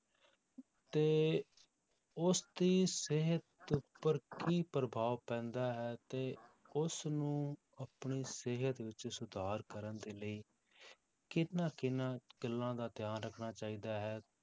ਤੇ ਉਸਦੀ ਸਿਹਤ ਉੱਪਰ ਕੀ ਪ੍ਰਭਾਵ ਪੈਂਦਾ ਹੈ ਤੇ ਉਸਨੂੰ ਆਪਣੀ ਸਿਹਤ ਵਿੱਚ ਸੁਧਾਰ ਕਰਨ ਦੇ ਲਈ ਕਿਹਨਾਂ ਕਿਹਨਾਂ ਗੱਲਾਂ ਦਾ ਧਿਆਨ ਰੱਖਣਾ ਚਾਹੀਦਾ ਹੈ,